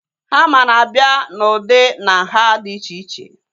Hama na-abịa na ụdị na nhá dị iche iche